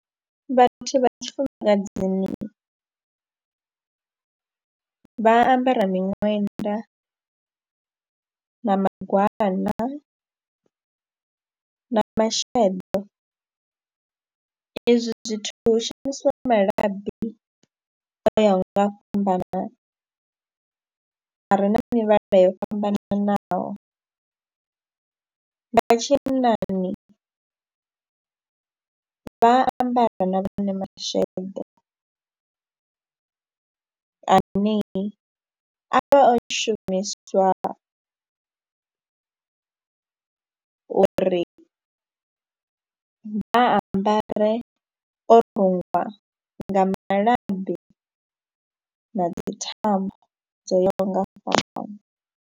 Vhathu vha tshifumakadzini vha ambara miṅwenda na magwana, na masheḓo, ezwi zwithu hu shumisiwa malabi o yaho nga u fhambanana, a re na mivhala yo fhambananaho. Vha tshinnani vha ambara na vhone masheḓo ane a vha o shumiswa uri vha a ambare o rungwa nga malabi na dzi thambo dzo yaho nga u fhambana.